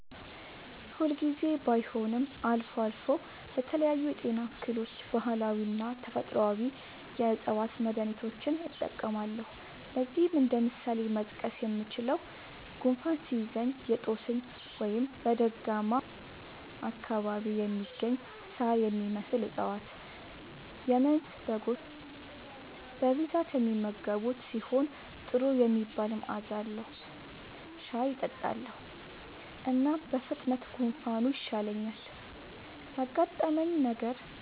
ሁል ጊዜ ባይሆንም አልፎ አልፎ ለተለያዩ የጤና እክሎች ባህላዊና ተፈጥአዊ የ ዕፅዋት መድሀኒቶችን እጠቀማለሁ። ለዚህም እንደ ምሳሌ መጥቀስ የምችለው፣ ጉንፋን ሲይዘኝ የ ጦስኝ (በደጋማ አካባቢ የሚገኝ ሳር የሚመስል እፀዋት - የመንዝ በጎች በብዛት የሚመገቡት ሲሆን ጥሩ የሚባል መዐዛ አለዉ) ሻይ እጠጣለሁ። እናም በፍጥነት ጉንፋኑ ይሻለኛል። ያጋጠመኝ ነገር:-